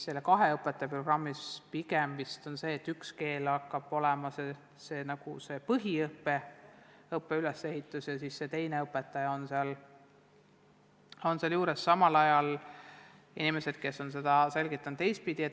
Kahe õpetaja programmi puhul pigem vist on nii, et üks keel domineerib nagu põhiõppes ja teine õpetaja on seal juures abistamas.